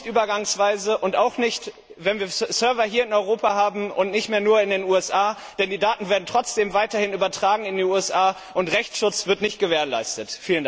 Auch nicht übergangsweise und auch nicht, wenn wir Server hier in Europa haben und nicht mehr nur in den USA, denn die Daten werden trotzdem weiterhin in die USA übertragen und Rechtsschutz wird nicht gewährleistet.